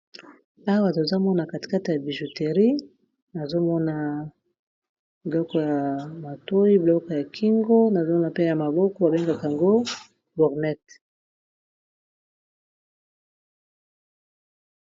Awa tozo mona katikati ya bijouterie nazomona biloko ya matoyi biloko ya kingo nazomona pe ya maboko babengaka yango gourmette.